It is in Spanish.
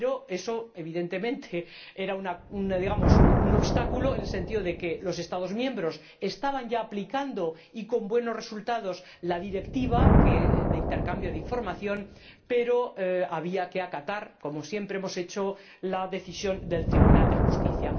Eso, evidentemente, era un obstáculo, en el sentido de que los Estados miembros estaban ya aplicando y con buenos resultados la Directiva de intercambio de información, pero había que acatar, como siempre hemos hecho, la decisión del Tribunal de Justicia.